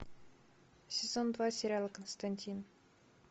сезон два сериала константин